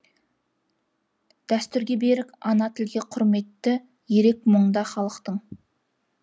дәстүрге берік ана тілге құрметі ерек мұндағы халықтың